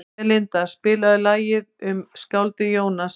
Belinda, spilaðu lagið „Um skáldið Jónas“.